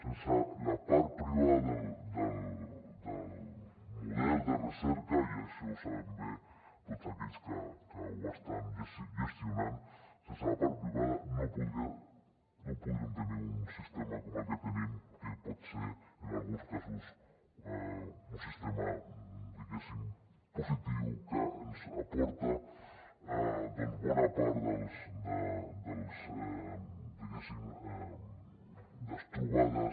sense la part privada del model de recerca i això ho saben bé tots aquells que ho estan gestionant sense la part privada no podríem tenir un sistema com el que tenim que pot ser en alguns casos un sistema diguéssim positiu que ens aporta doncs bona part diguéssim de trobades